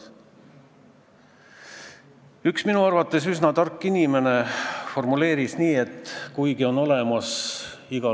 Seda ma saan öelda, et viimatised muudatused jõustusid tänu Riigi Teatajas avaldamisele 1. juulil 2014. Millised olid need debatid tol korral siin saalis ja mis olid välja käidud argumendid, miks ei nähtud ettepoole, kes seda teab.